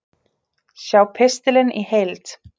Sjá pistilinn í heild